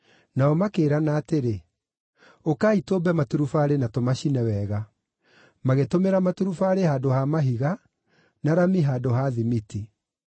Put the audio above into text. Nao makĩĩrana atĩrĩ, “Ũkai tũũmbe maturubarĩ na tũmacine wega.” Magĩtũmĩra maturubarĩ handũ ha mahiga, na rami handũ ha thimiti.